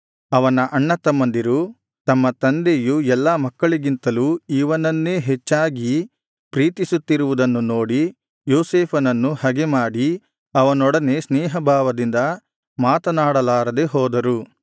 ಅವನ ಅಣ್ಣತಮ್ಮಂದಿರು ತಮ್ಮ ತಂದೆಯು ಎಲ್ಲಾ ಮಕ್ಕಳಿಗಿಂತಲೂ ಇವನನ್ನೇ ಹೆಚ್ಚಾಗಿ ಪ್ರೀತಿಸುತ್ತಿರುವುದನ್ನು ನೋಡಿ ಯೋಸೇಫನನ್ನು ಹಗೆಮಾಡಿ ಅವನೊಡನೆ ಸ್ನೇಹಭಾವದಿಂದ ಮಾತನಾಡಲಾರದೆ ಹೋದರು